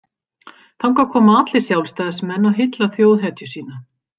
Þangað koma allir Sjálfstæðismenn og hylla þjóðhetju sína.